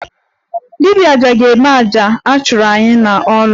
Dibia aja ga-eme aja a chụrụ anyị n'ọrụ